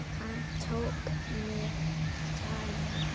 Hann tók mig tali.